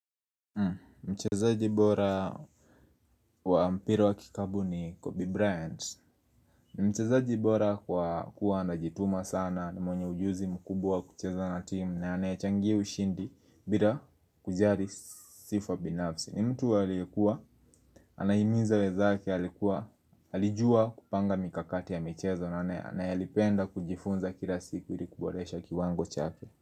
Mchezaji bora wa mpira wa kikabu ni Kobe Bryant Mchezaji bora kwa kuwa anajituma sana na mwenye ujuzi mkubwa wa kucheza na timu na anayachangia ushindi bila kujari sifa binafsi. Ni mtu aliyekuwa, anahimiza wenzake, alijua kupanga mikakati ya michezo na anayelipenda kujifunza kila siku ili kuboresha kiwango chake.